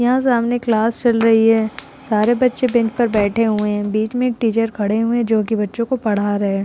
यहाँ सामने क्लास चल रही है। सारे बच्चे बैंच पर बैठे हुए हैं। बीच में एक टीचर खड़े हुए हैं जो कि बच्चों को पढ़ा रहे हैं।